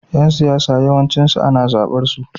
Yan siyasa yawanci ana zabar su.